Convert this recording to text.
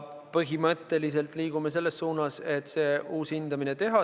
Põhimõtteliselt liigume selles suunas, et teha uus hindamine.